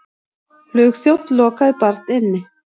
Flugþjónn lokaði barn inni